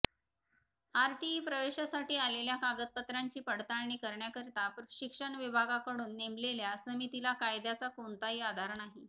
RTE प्रवेशासाठी आलेल्या कागदपत्रांची पडताळणी करण्याकरिता शिक्षण विभागाकडून नेमलेल्या समितीला कायद्याचा कोणताही आधार नाही